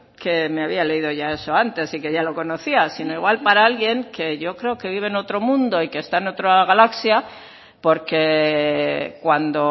que me había leído ya eso antes y que ya lo conocía sino igual para alguien que yo creo que vive en otro mundo y que está en otra galaxia porque cuando